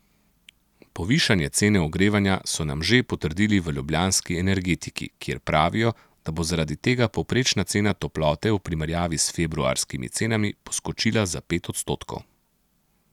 Povišanje cene ogrevanja so nam že potrdili v ljubljanski Energetiki, kjer pravijo, da bo zaradi tega povprečna cena toplote v primerjavi s februarskimi cenami poskočila za pet odstotkov.